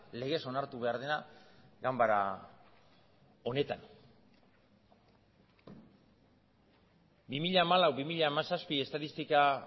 legez onartu behar dena ganbara honetan bi mila hamalau bi mila hamazazpi estatistika